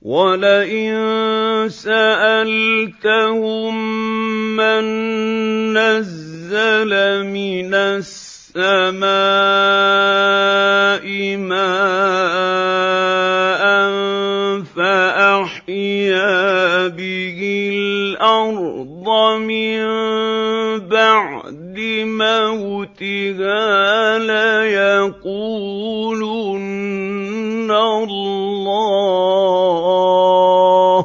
وَلَئِن سَأَلْتَهُم مَّن نَّزَّلَ مِنَ السَّمَاءِ مَاءً فَأَحْيَا بِهِ الْأَرْضَ مِن بَعْدِ مَوْتِهَا لَيَقُولُنَّ اللَّهُ ۚ